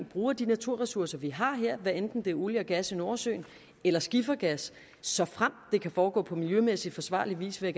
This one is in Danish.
bruger de naturressourcer vi har her hvad enten det er olie og gas i nordsøen eller skifergas såfremt det kan foregå på miljømæssigt forsvarlig vis vil